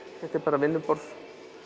þetta er bara vinnuborð